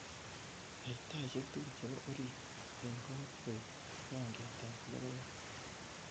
yai taisiek tugul chepo oriit en ng'oot koik raingiat ab logoyat